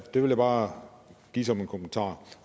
det vil jeg bare give som en kommentar